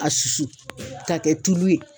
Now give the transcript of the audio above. A susu k'a kɛ tulu ye.